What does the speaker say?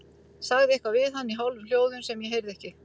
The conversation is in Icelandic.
Sagði eitthvað við hann í hálfum hljóðum sem ég heyrði ekki.